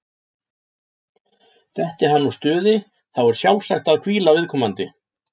Detti hann úr stuði, þá er sjálfsagt að hvíla viðkomandi.